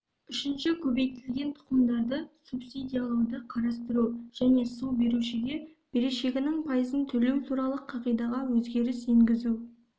үшінші көбейтілген тұқымдарды субсидиялауды қарастыру және су берушіге берешегінің пайызын төлеу туралы қағидаға өзгеріс енгізу